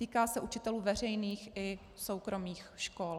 Týká se učitelů veřejných i soukromých škol.